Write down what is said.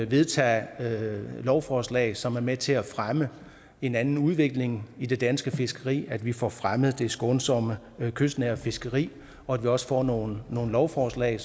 vedtage lovforslag som er med til at fremme en anden udvikling i det danske fiskeri at vi får fremmet det skånsomme kystnære fiskeri og at vi også får nogle lovforslag